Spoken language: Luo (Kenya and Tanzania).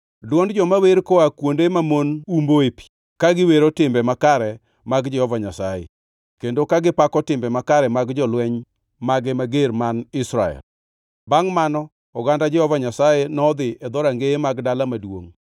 dwond joma wer koa kuonde mamon umboe pi; ka giwero timbe makare mag Jehova Nyasaye, kendo ka gipako timbe makare mag jolweny mage mager man Israel. “Bangʼ mano oganda Jehova Nyasaye nodhi e dhorangeye mag dala maduongʼ.